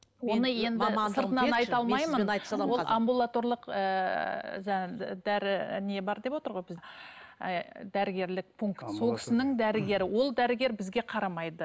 ол амбулаторлық ііі дәрі не бар деп отырғой біз ііі дәрігерлік пункт сол кісінің дәрігері ол дәрігер бізге қарамайды